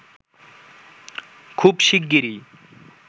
খুব শীগগিরই